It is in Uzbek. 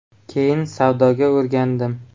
Keyin savdoga o‘rgandim.